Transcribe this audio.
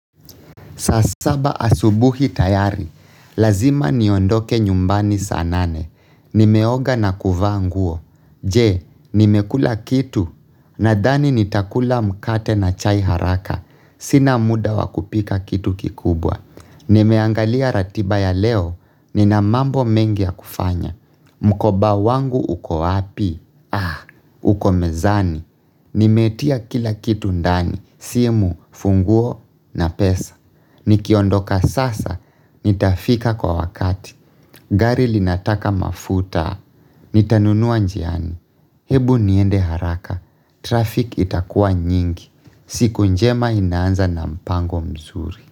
Saa saba asubuhi tayari. Lazima niondoke nyumbani saa nane. Nimeoga na kuvaa nguo. Je, nimekula kitu. Nadhani nitakula mkate na chai haraka. Sina muda wakupika kitu kikubwa. Nimeangalia ratiba ya leo. Nina mambo mengi ya kufanya. Mkoba wangu uko wapi? Ah, uko mezani. Nimetia kila kitu ndani. Simu, funguo na pesa. Nikiondoka sasa. Nitafika kwa wakati. Gari linataka mafuta. Nitanunua njiani. Hebu niende haraka. Traffic itakua nyingi. Siku njema inaanza na mpango mzuri.